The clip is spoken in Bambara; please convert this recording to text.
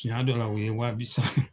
Tiɲa dɔ la o ye waa bi